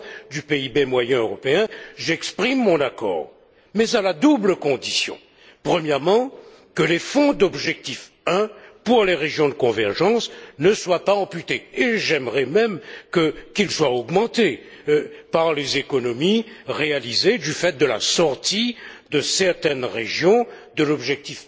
du PIB moyen européen, j'exprime mon accord, mais à la double condition, premièrement que les fonds d'objectif 1, pour les régions de convergence, ne soient pas amputés et j'aimerais même qu'ils soient augmentés par les économies réalisées du faít de la sortie de certaines régions de l'objectif